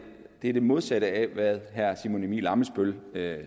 det modsatte af hvad herre simon emil ammitzbøll